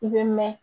I bɛ mɛn